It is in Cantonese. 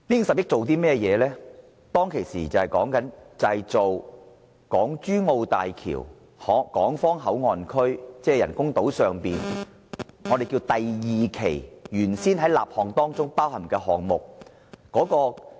政府當時聲稱額外撥款會用以支付港珠澳大橋港方口岸區，即人工島第二期原先在立項包含的項目。